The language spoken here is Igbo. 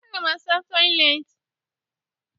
Aga m asa toịletị.